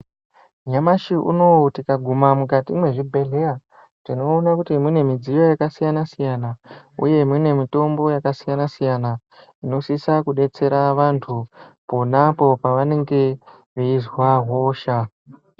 Nyamashi unowu tikaguma mukati mwezvibhedhleya, tinoona kuti mune midziyo yakasiyana-siyana, uye imweni mitombo yakasiyana-siyana, inosisa kudetsera vantu, pona apo vanenge veizwa hosha.